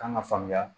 Kan ka faamuya